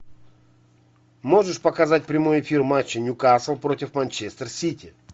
можешь показать прямой эфир матча ньюкасл против манчестер сити